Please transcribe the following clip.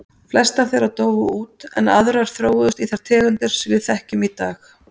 Flestar þeirra dóu út en aðrar þróuðust í þær tegundir sem við þekkjum í dag.